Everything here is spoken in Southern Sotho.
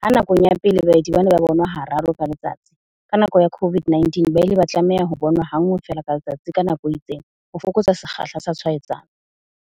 Ha nakong ya pele baeti bane ba bonwa hararo ka letsatsi, ka nako ya COVID-19 ba ile ba tlameha ho bona ha nngwe feela ka letsatsi ka nako e itseng. Ho fokotsa sekgahla sa tshwaetsano.